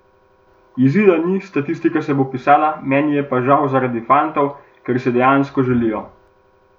Izida ni, statistika se bo pisala, meni je pa žal zaradi fantov, ker si dejansko želijo.